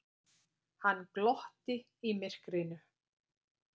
Hann glotti í myrkrinu.